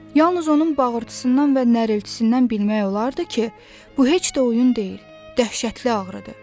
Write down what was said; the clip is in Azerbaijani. Yalnız onun bağırtısından və nəriltisindən bilmək olardı ki, bu heç də oyun deyil, dəhşətli ağrıdır.